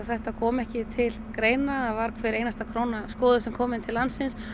þetta kom ekki til greina það var hver einasta króna skoðuð sem kom inn til landsins